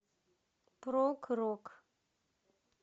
прог рок